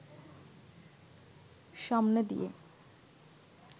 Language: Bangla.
সামনে দিয়ে